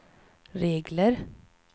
regler